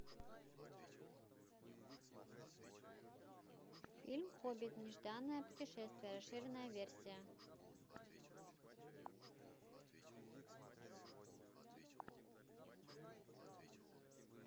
фильм хоббит нежданное путешествие расширенная версия